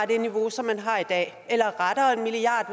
det niveau som man har i dag eller rettere en milliard